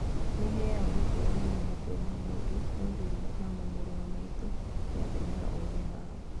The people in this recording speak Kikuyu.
"Nĩheaga gĩtĩo mũno matua ma mũndũ no ndirĩ nama mũru wa maitũ nĩatũmĩrĩte ũũgĩ haha.